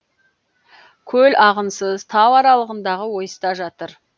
көл ағынсыз тау аралығындағы ойыста жатыр